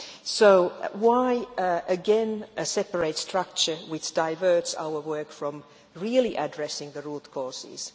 So why, again, a separate structure which diverts our work from really addressing the root causes?